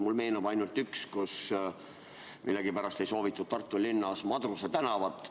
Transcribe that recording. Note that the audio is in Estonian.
Mulle meenub ainult üks, kui millegipärast ei soovitud Tartu linnas Madruse tänavat.